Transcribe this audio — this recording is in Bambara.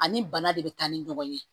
Ani bana de bɛ taa ni ɲɔgɔn ye